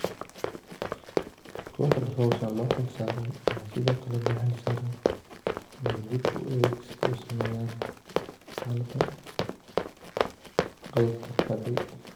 Kooxda hawshan loo xilsaaray ayaa sidookale loo xilsaaray inaydib u eegisku sameeyaan xaalada qaybta hadhay.